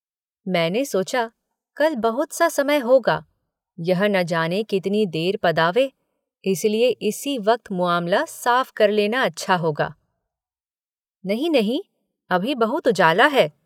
मैंने सोचा, कल बहुत सा समय होगा, यह न जाने कितनी देर पदावे इसलिए इसी वक्त मुआमला साफ़ कर लेना अच्छा होगा। नहीं नहीं अभी बहुत उजाला है